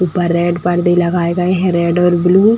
ऊपर रेड पर्दे लगाए गए हैं रेड और ब्लू --